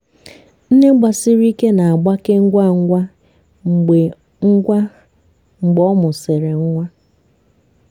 nne gbasiri ike na-agbake ngwa ngwa mgbe ngwa mgbe ọ mụsịrị nwa.